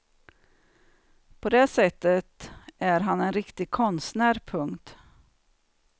På det sättet är han en riktig konstnär. punkt